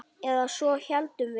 Eða svo héldum við.